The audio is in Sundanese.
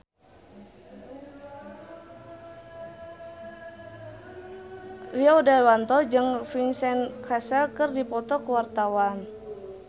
Rio Dewanto jeung Vincent Cassel keur dipoto ku wartawan